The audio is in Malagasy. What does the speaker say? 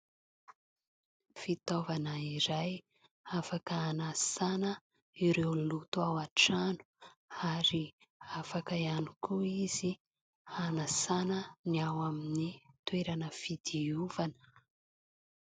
Fitaovana iray afaka hanasana ireo loto ao an-trano ary afaka ihany koa izy hanasana ny ao amin'ny toerana fidiovana.